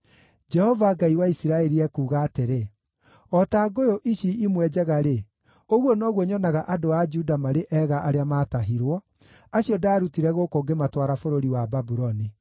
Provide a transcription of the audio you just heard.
“Jehova, Ngai wa Isiraeli ekuuga atĩrĩ: ‘O ta ngũyũ ici imwe njega-rĩ, ũguo noguo nyonaga andũ a Juda marĩ ega arĩa maatahirwo, acio ndaarutire gũkũ ngĩmatwara bũrũri wa Babuloni.